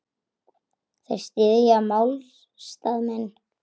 Þeir styðja málstað minn.